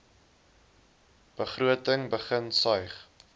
begroting begin suig